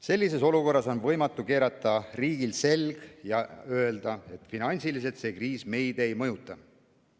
Sellises olukorras on riigil võimatu keerata selg ja öelda, et finantsiliselt see kriis meid ei mõjuta.